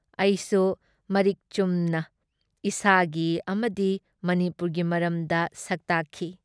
ꯑꯩꯁꯨ ꯃꯔꯤꯛ ꯆꯨꯝꯅ ꯏꯁꯥꯒꯤ ꯑꯃꯗꯤ ꯃꯅꯤꯄꯨꯔꯒꯤ ꯃꯔꯝꯗ ꯁꯛꯇꯥꯛꯈꯤ ꯫